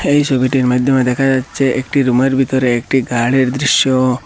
এই ছবিটির মাইধ্যমে দেখা যাচ্ছে একটি রুমের ভিতরে একটি গাড়ির দৃশ্য।